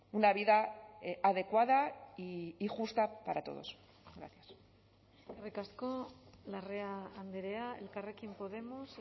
una vida adecuada y justa para todos gracias eskerrik asko larrea andrea elkarrekin podemos